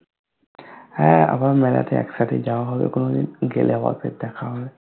হ্যা আবার মেলাতে একসাথেই যাওয়া হবে কুনুদিন গেলে আবার ফির দেখা হবে